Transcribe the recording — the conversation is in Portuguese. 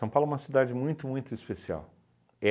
Paulo é uma cidade muito, muito especial.